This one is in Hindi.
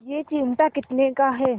यह चिमटा कितने का है